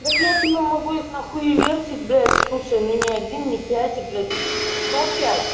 так я тебе могу их нахуивертить блядь слушай но ни один не пять а блять сто пять